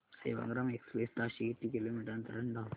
Sevagram express ताशी किती kilometre अंतराने धावते